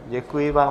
Děkuji vám.